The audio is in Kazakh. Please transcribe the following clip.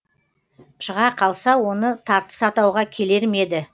шыға қалса оны тартыс атауға келер ме еді